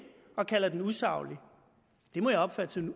og kalder den usaglig det må jeg opfatte som